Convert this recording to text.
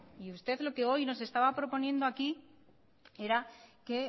y usted lo que hoy nos estaba proponiendo aquí era que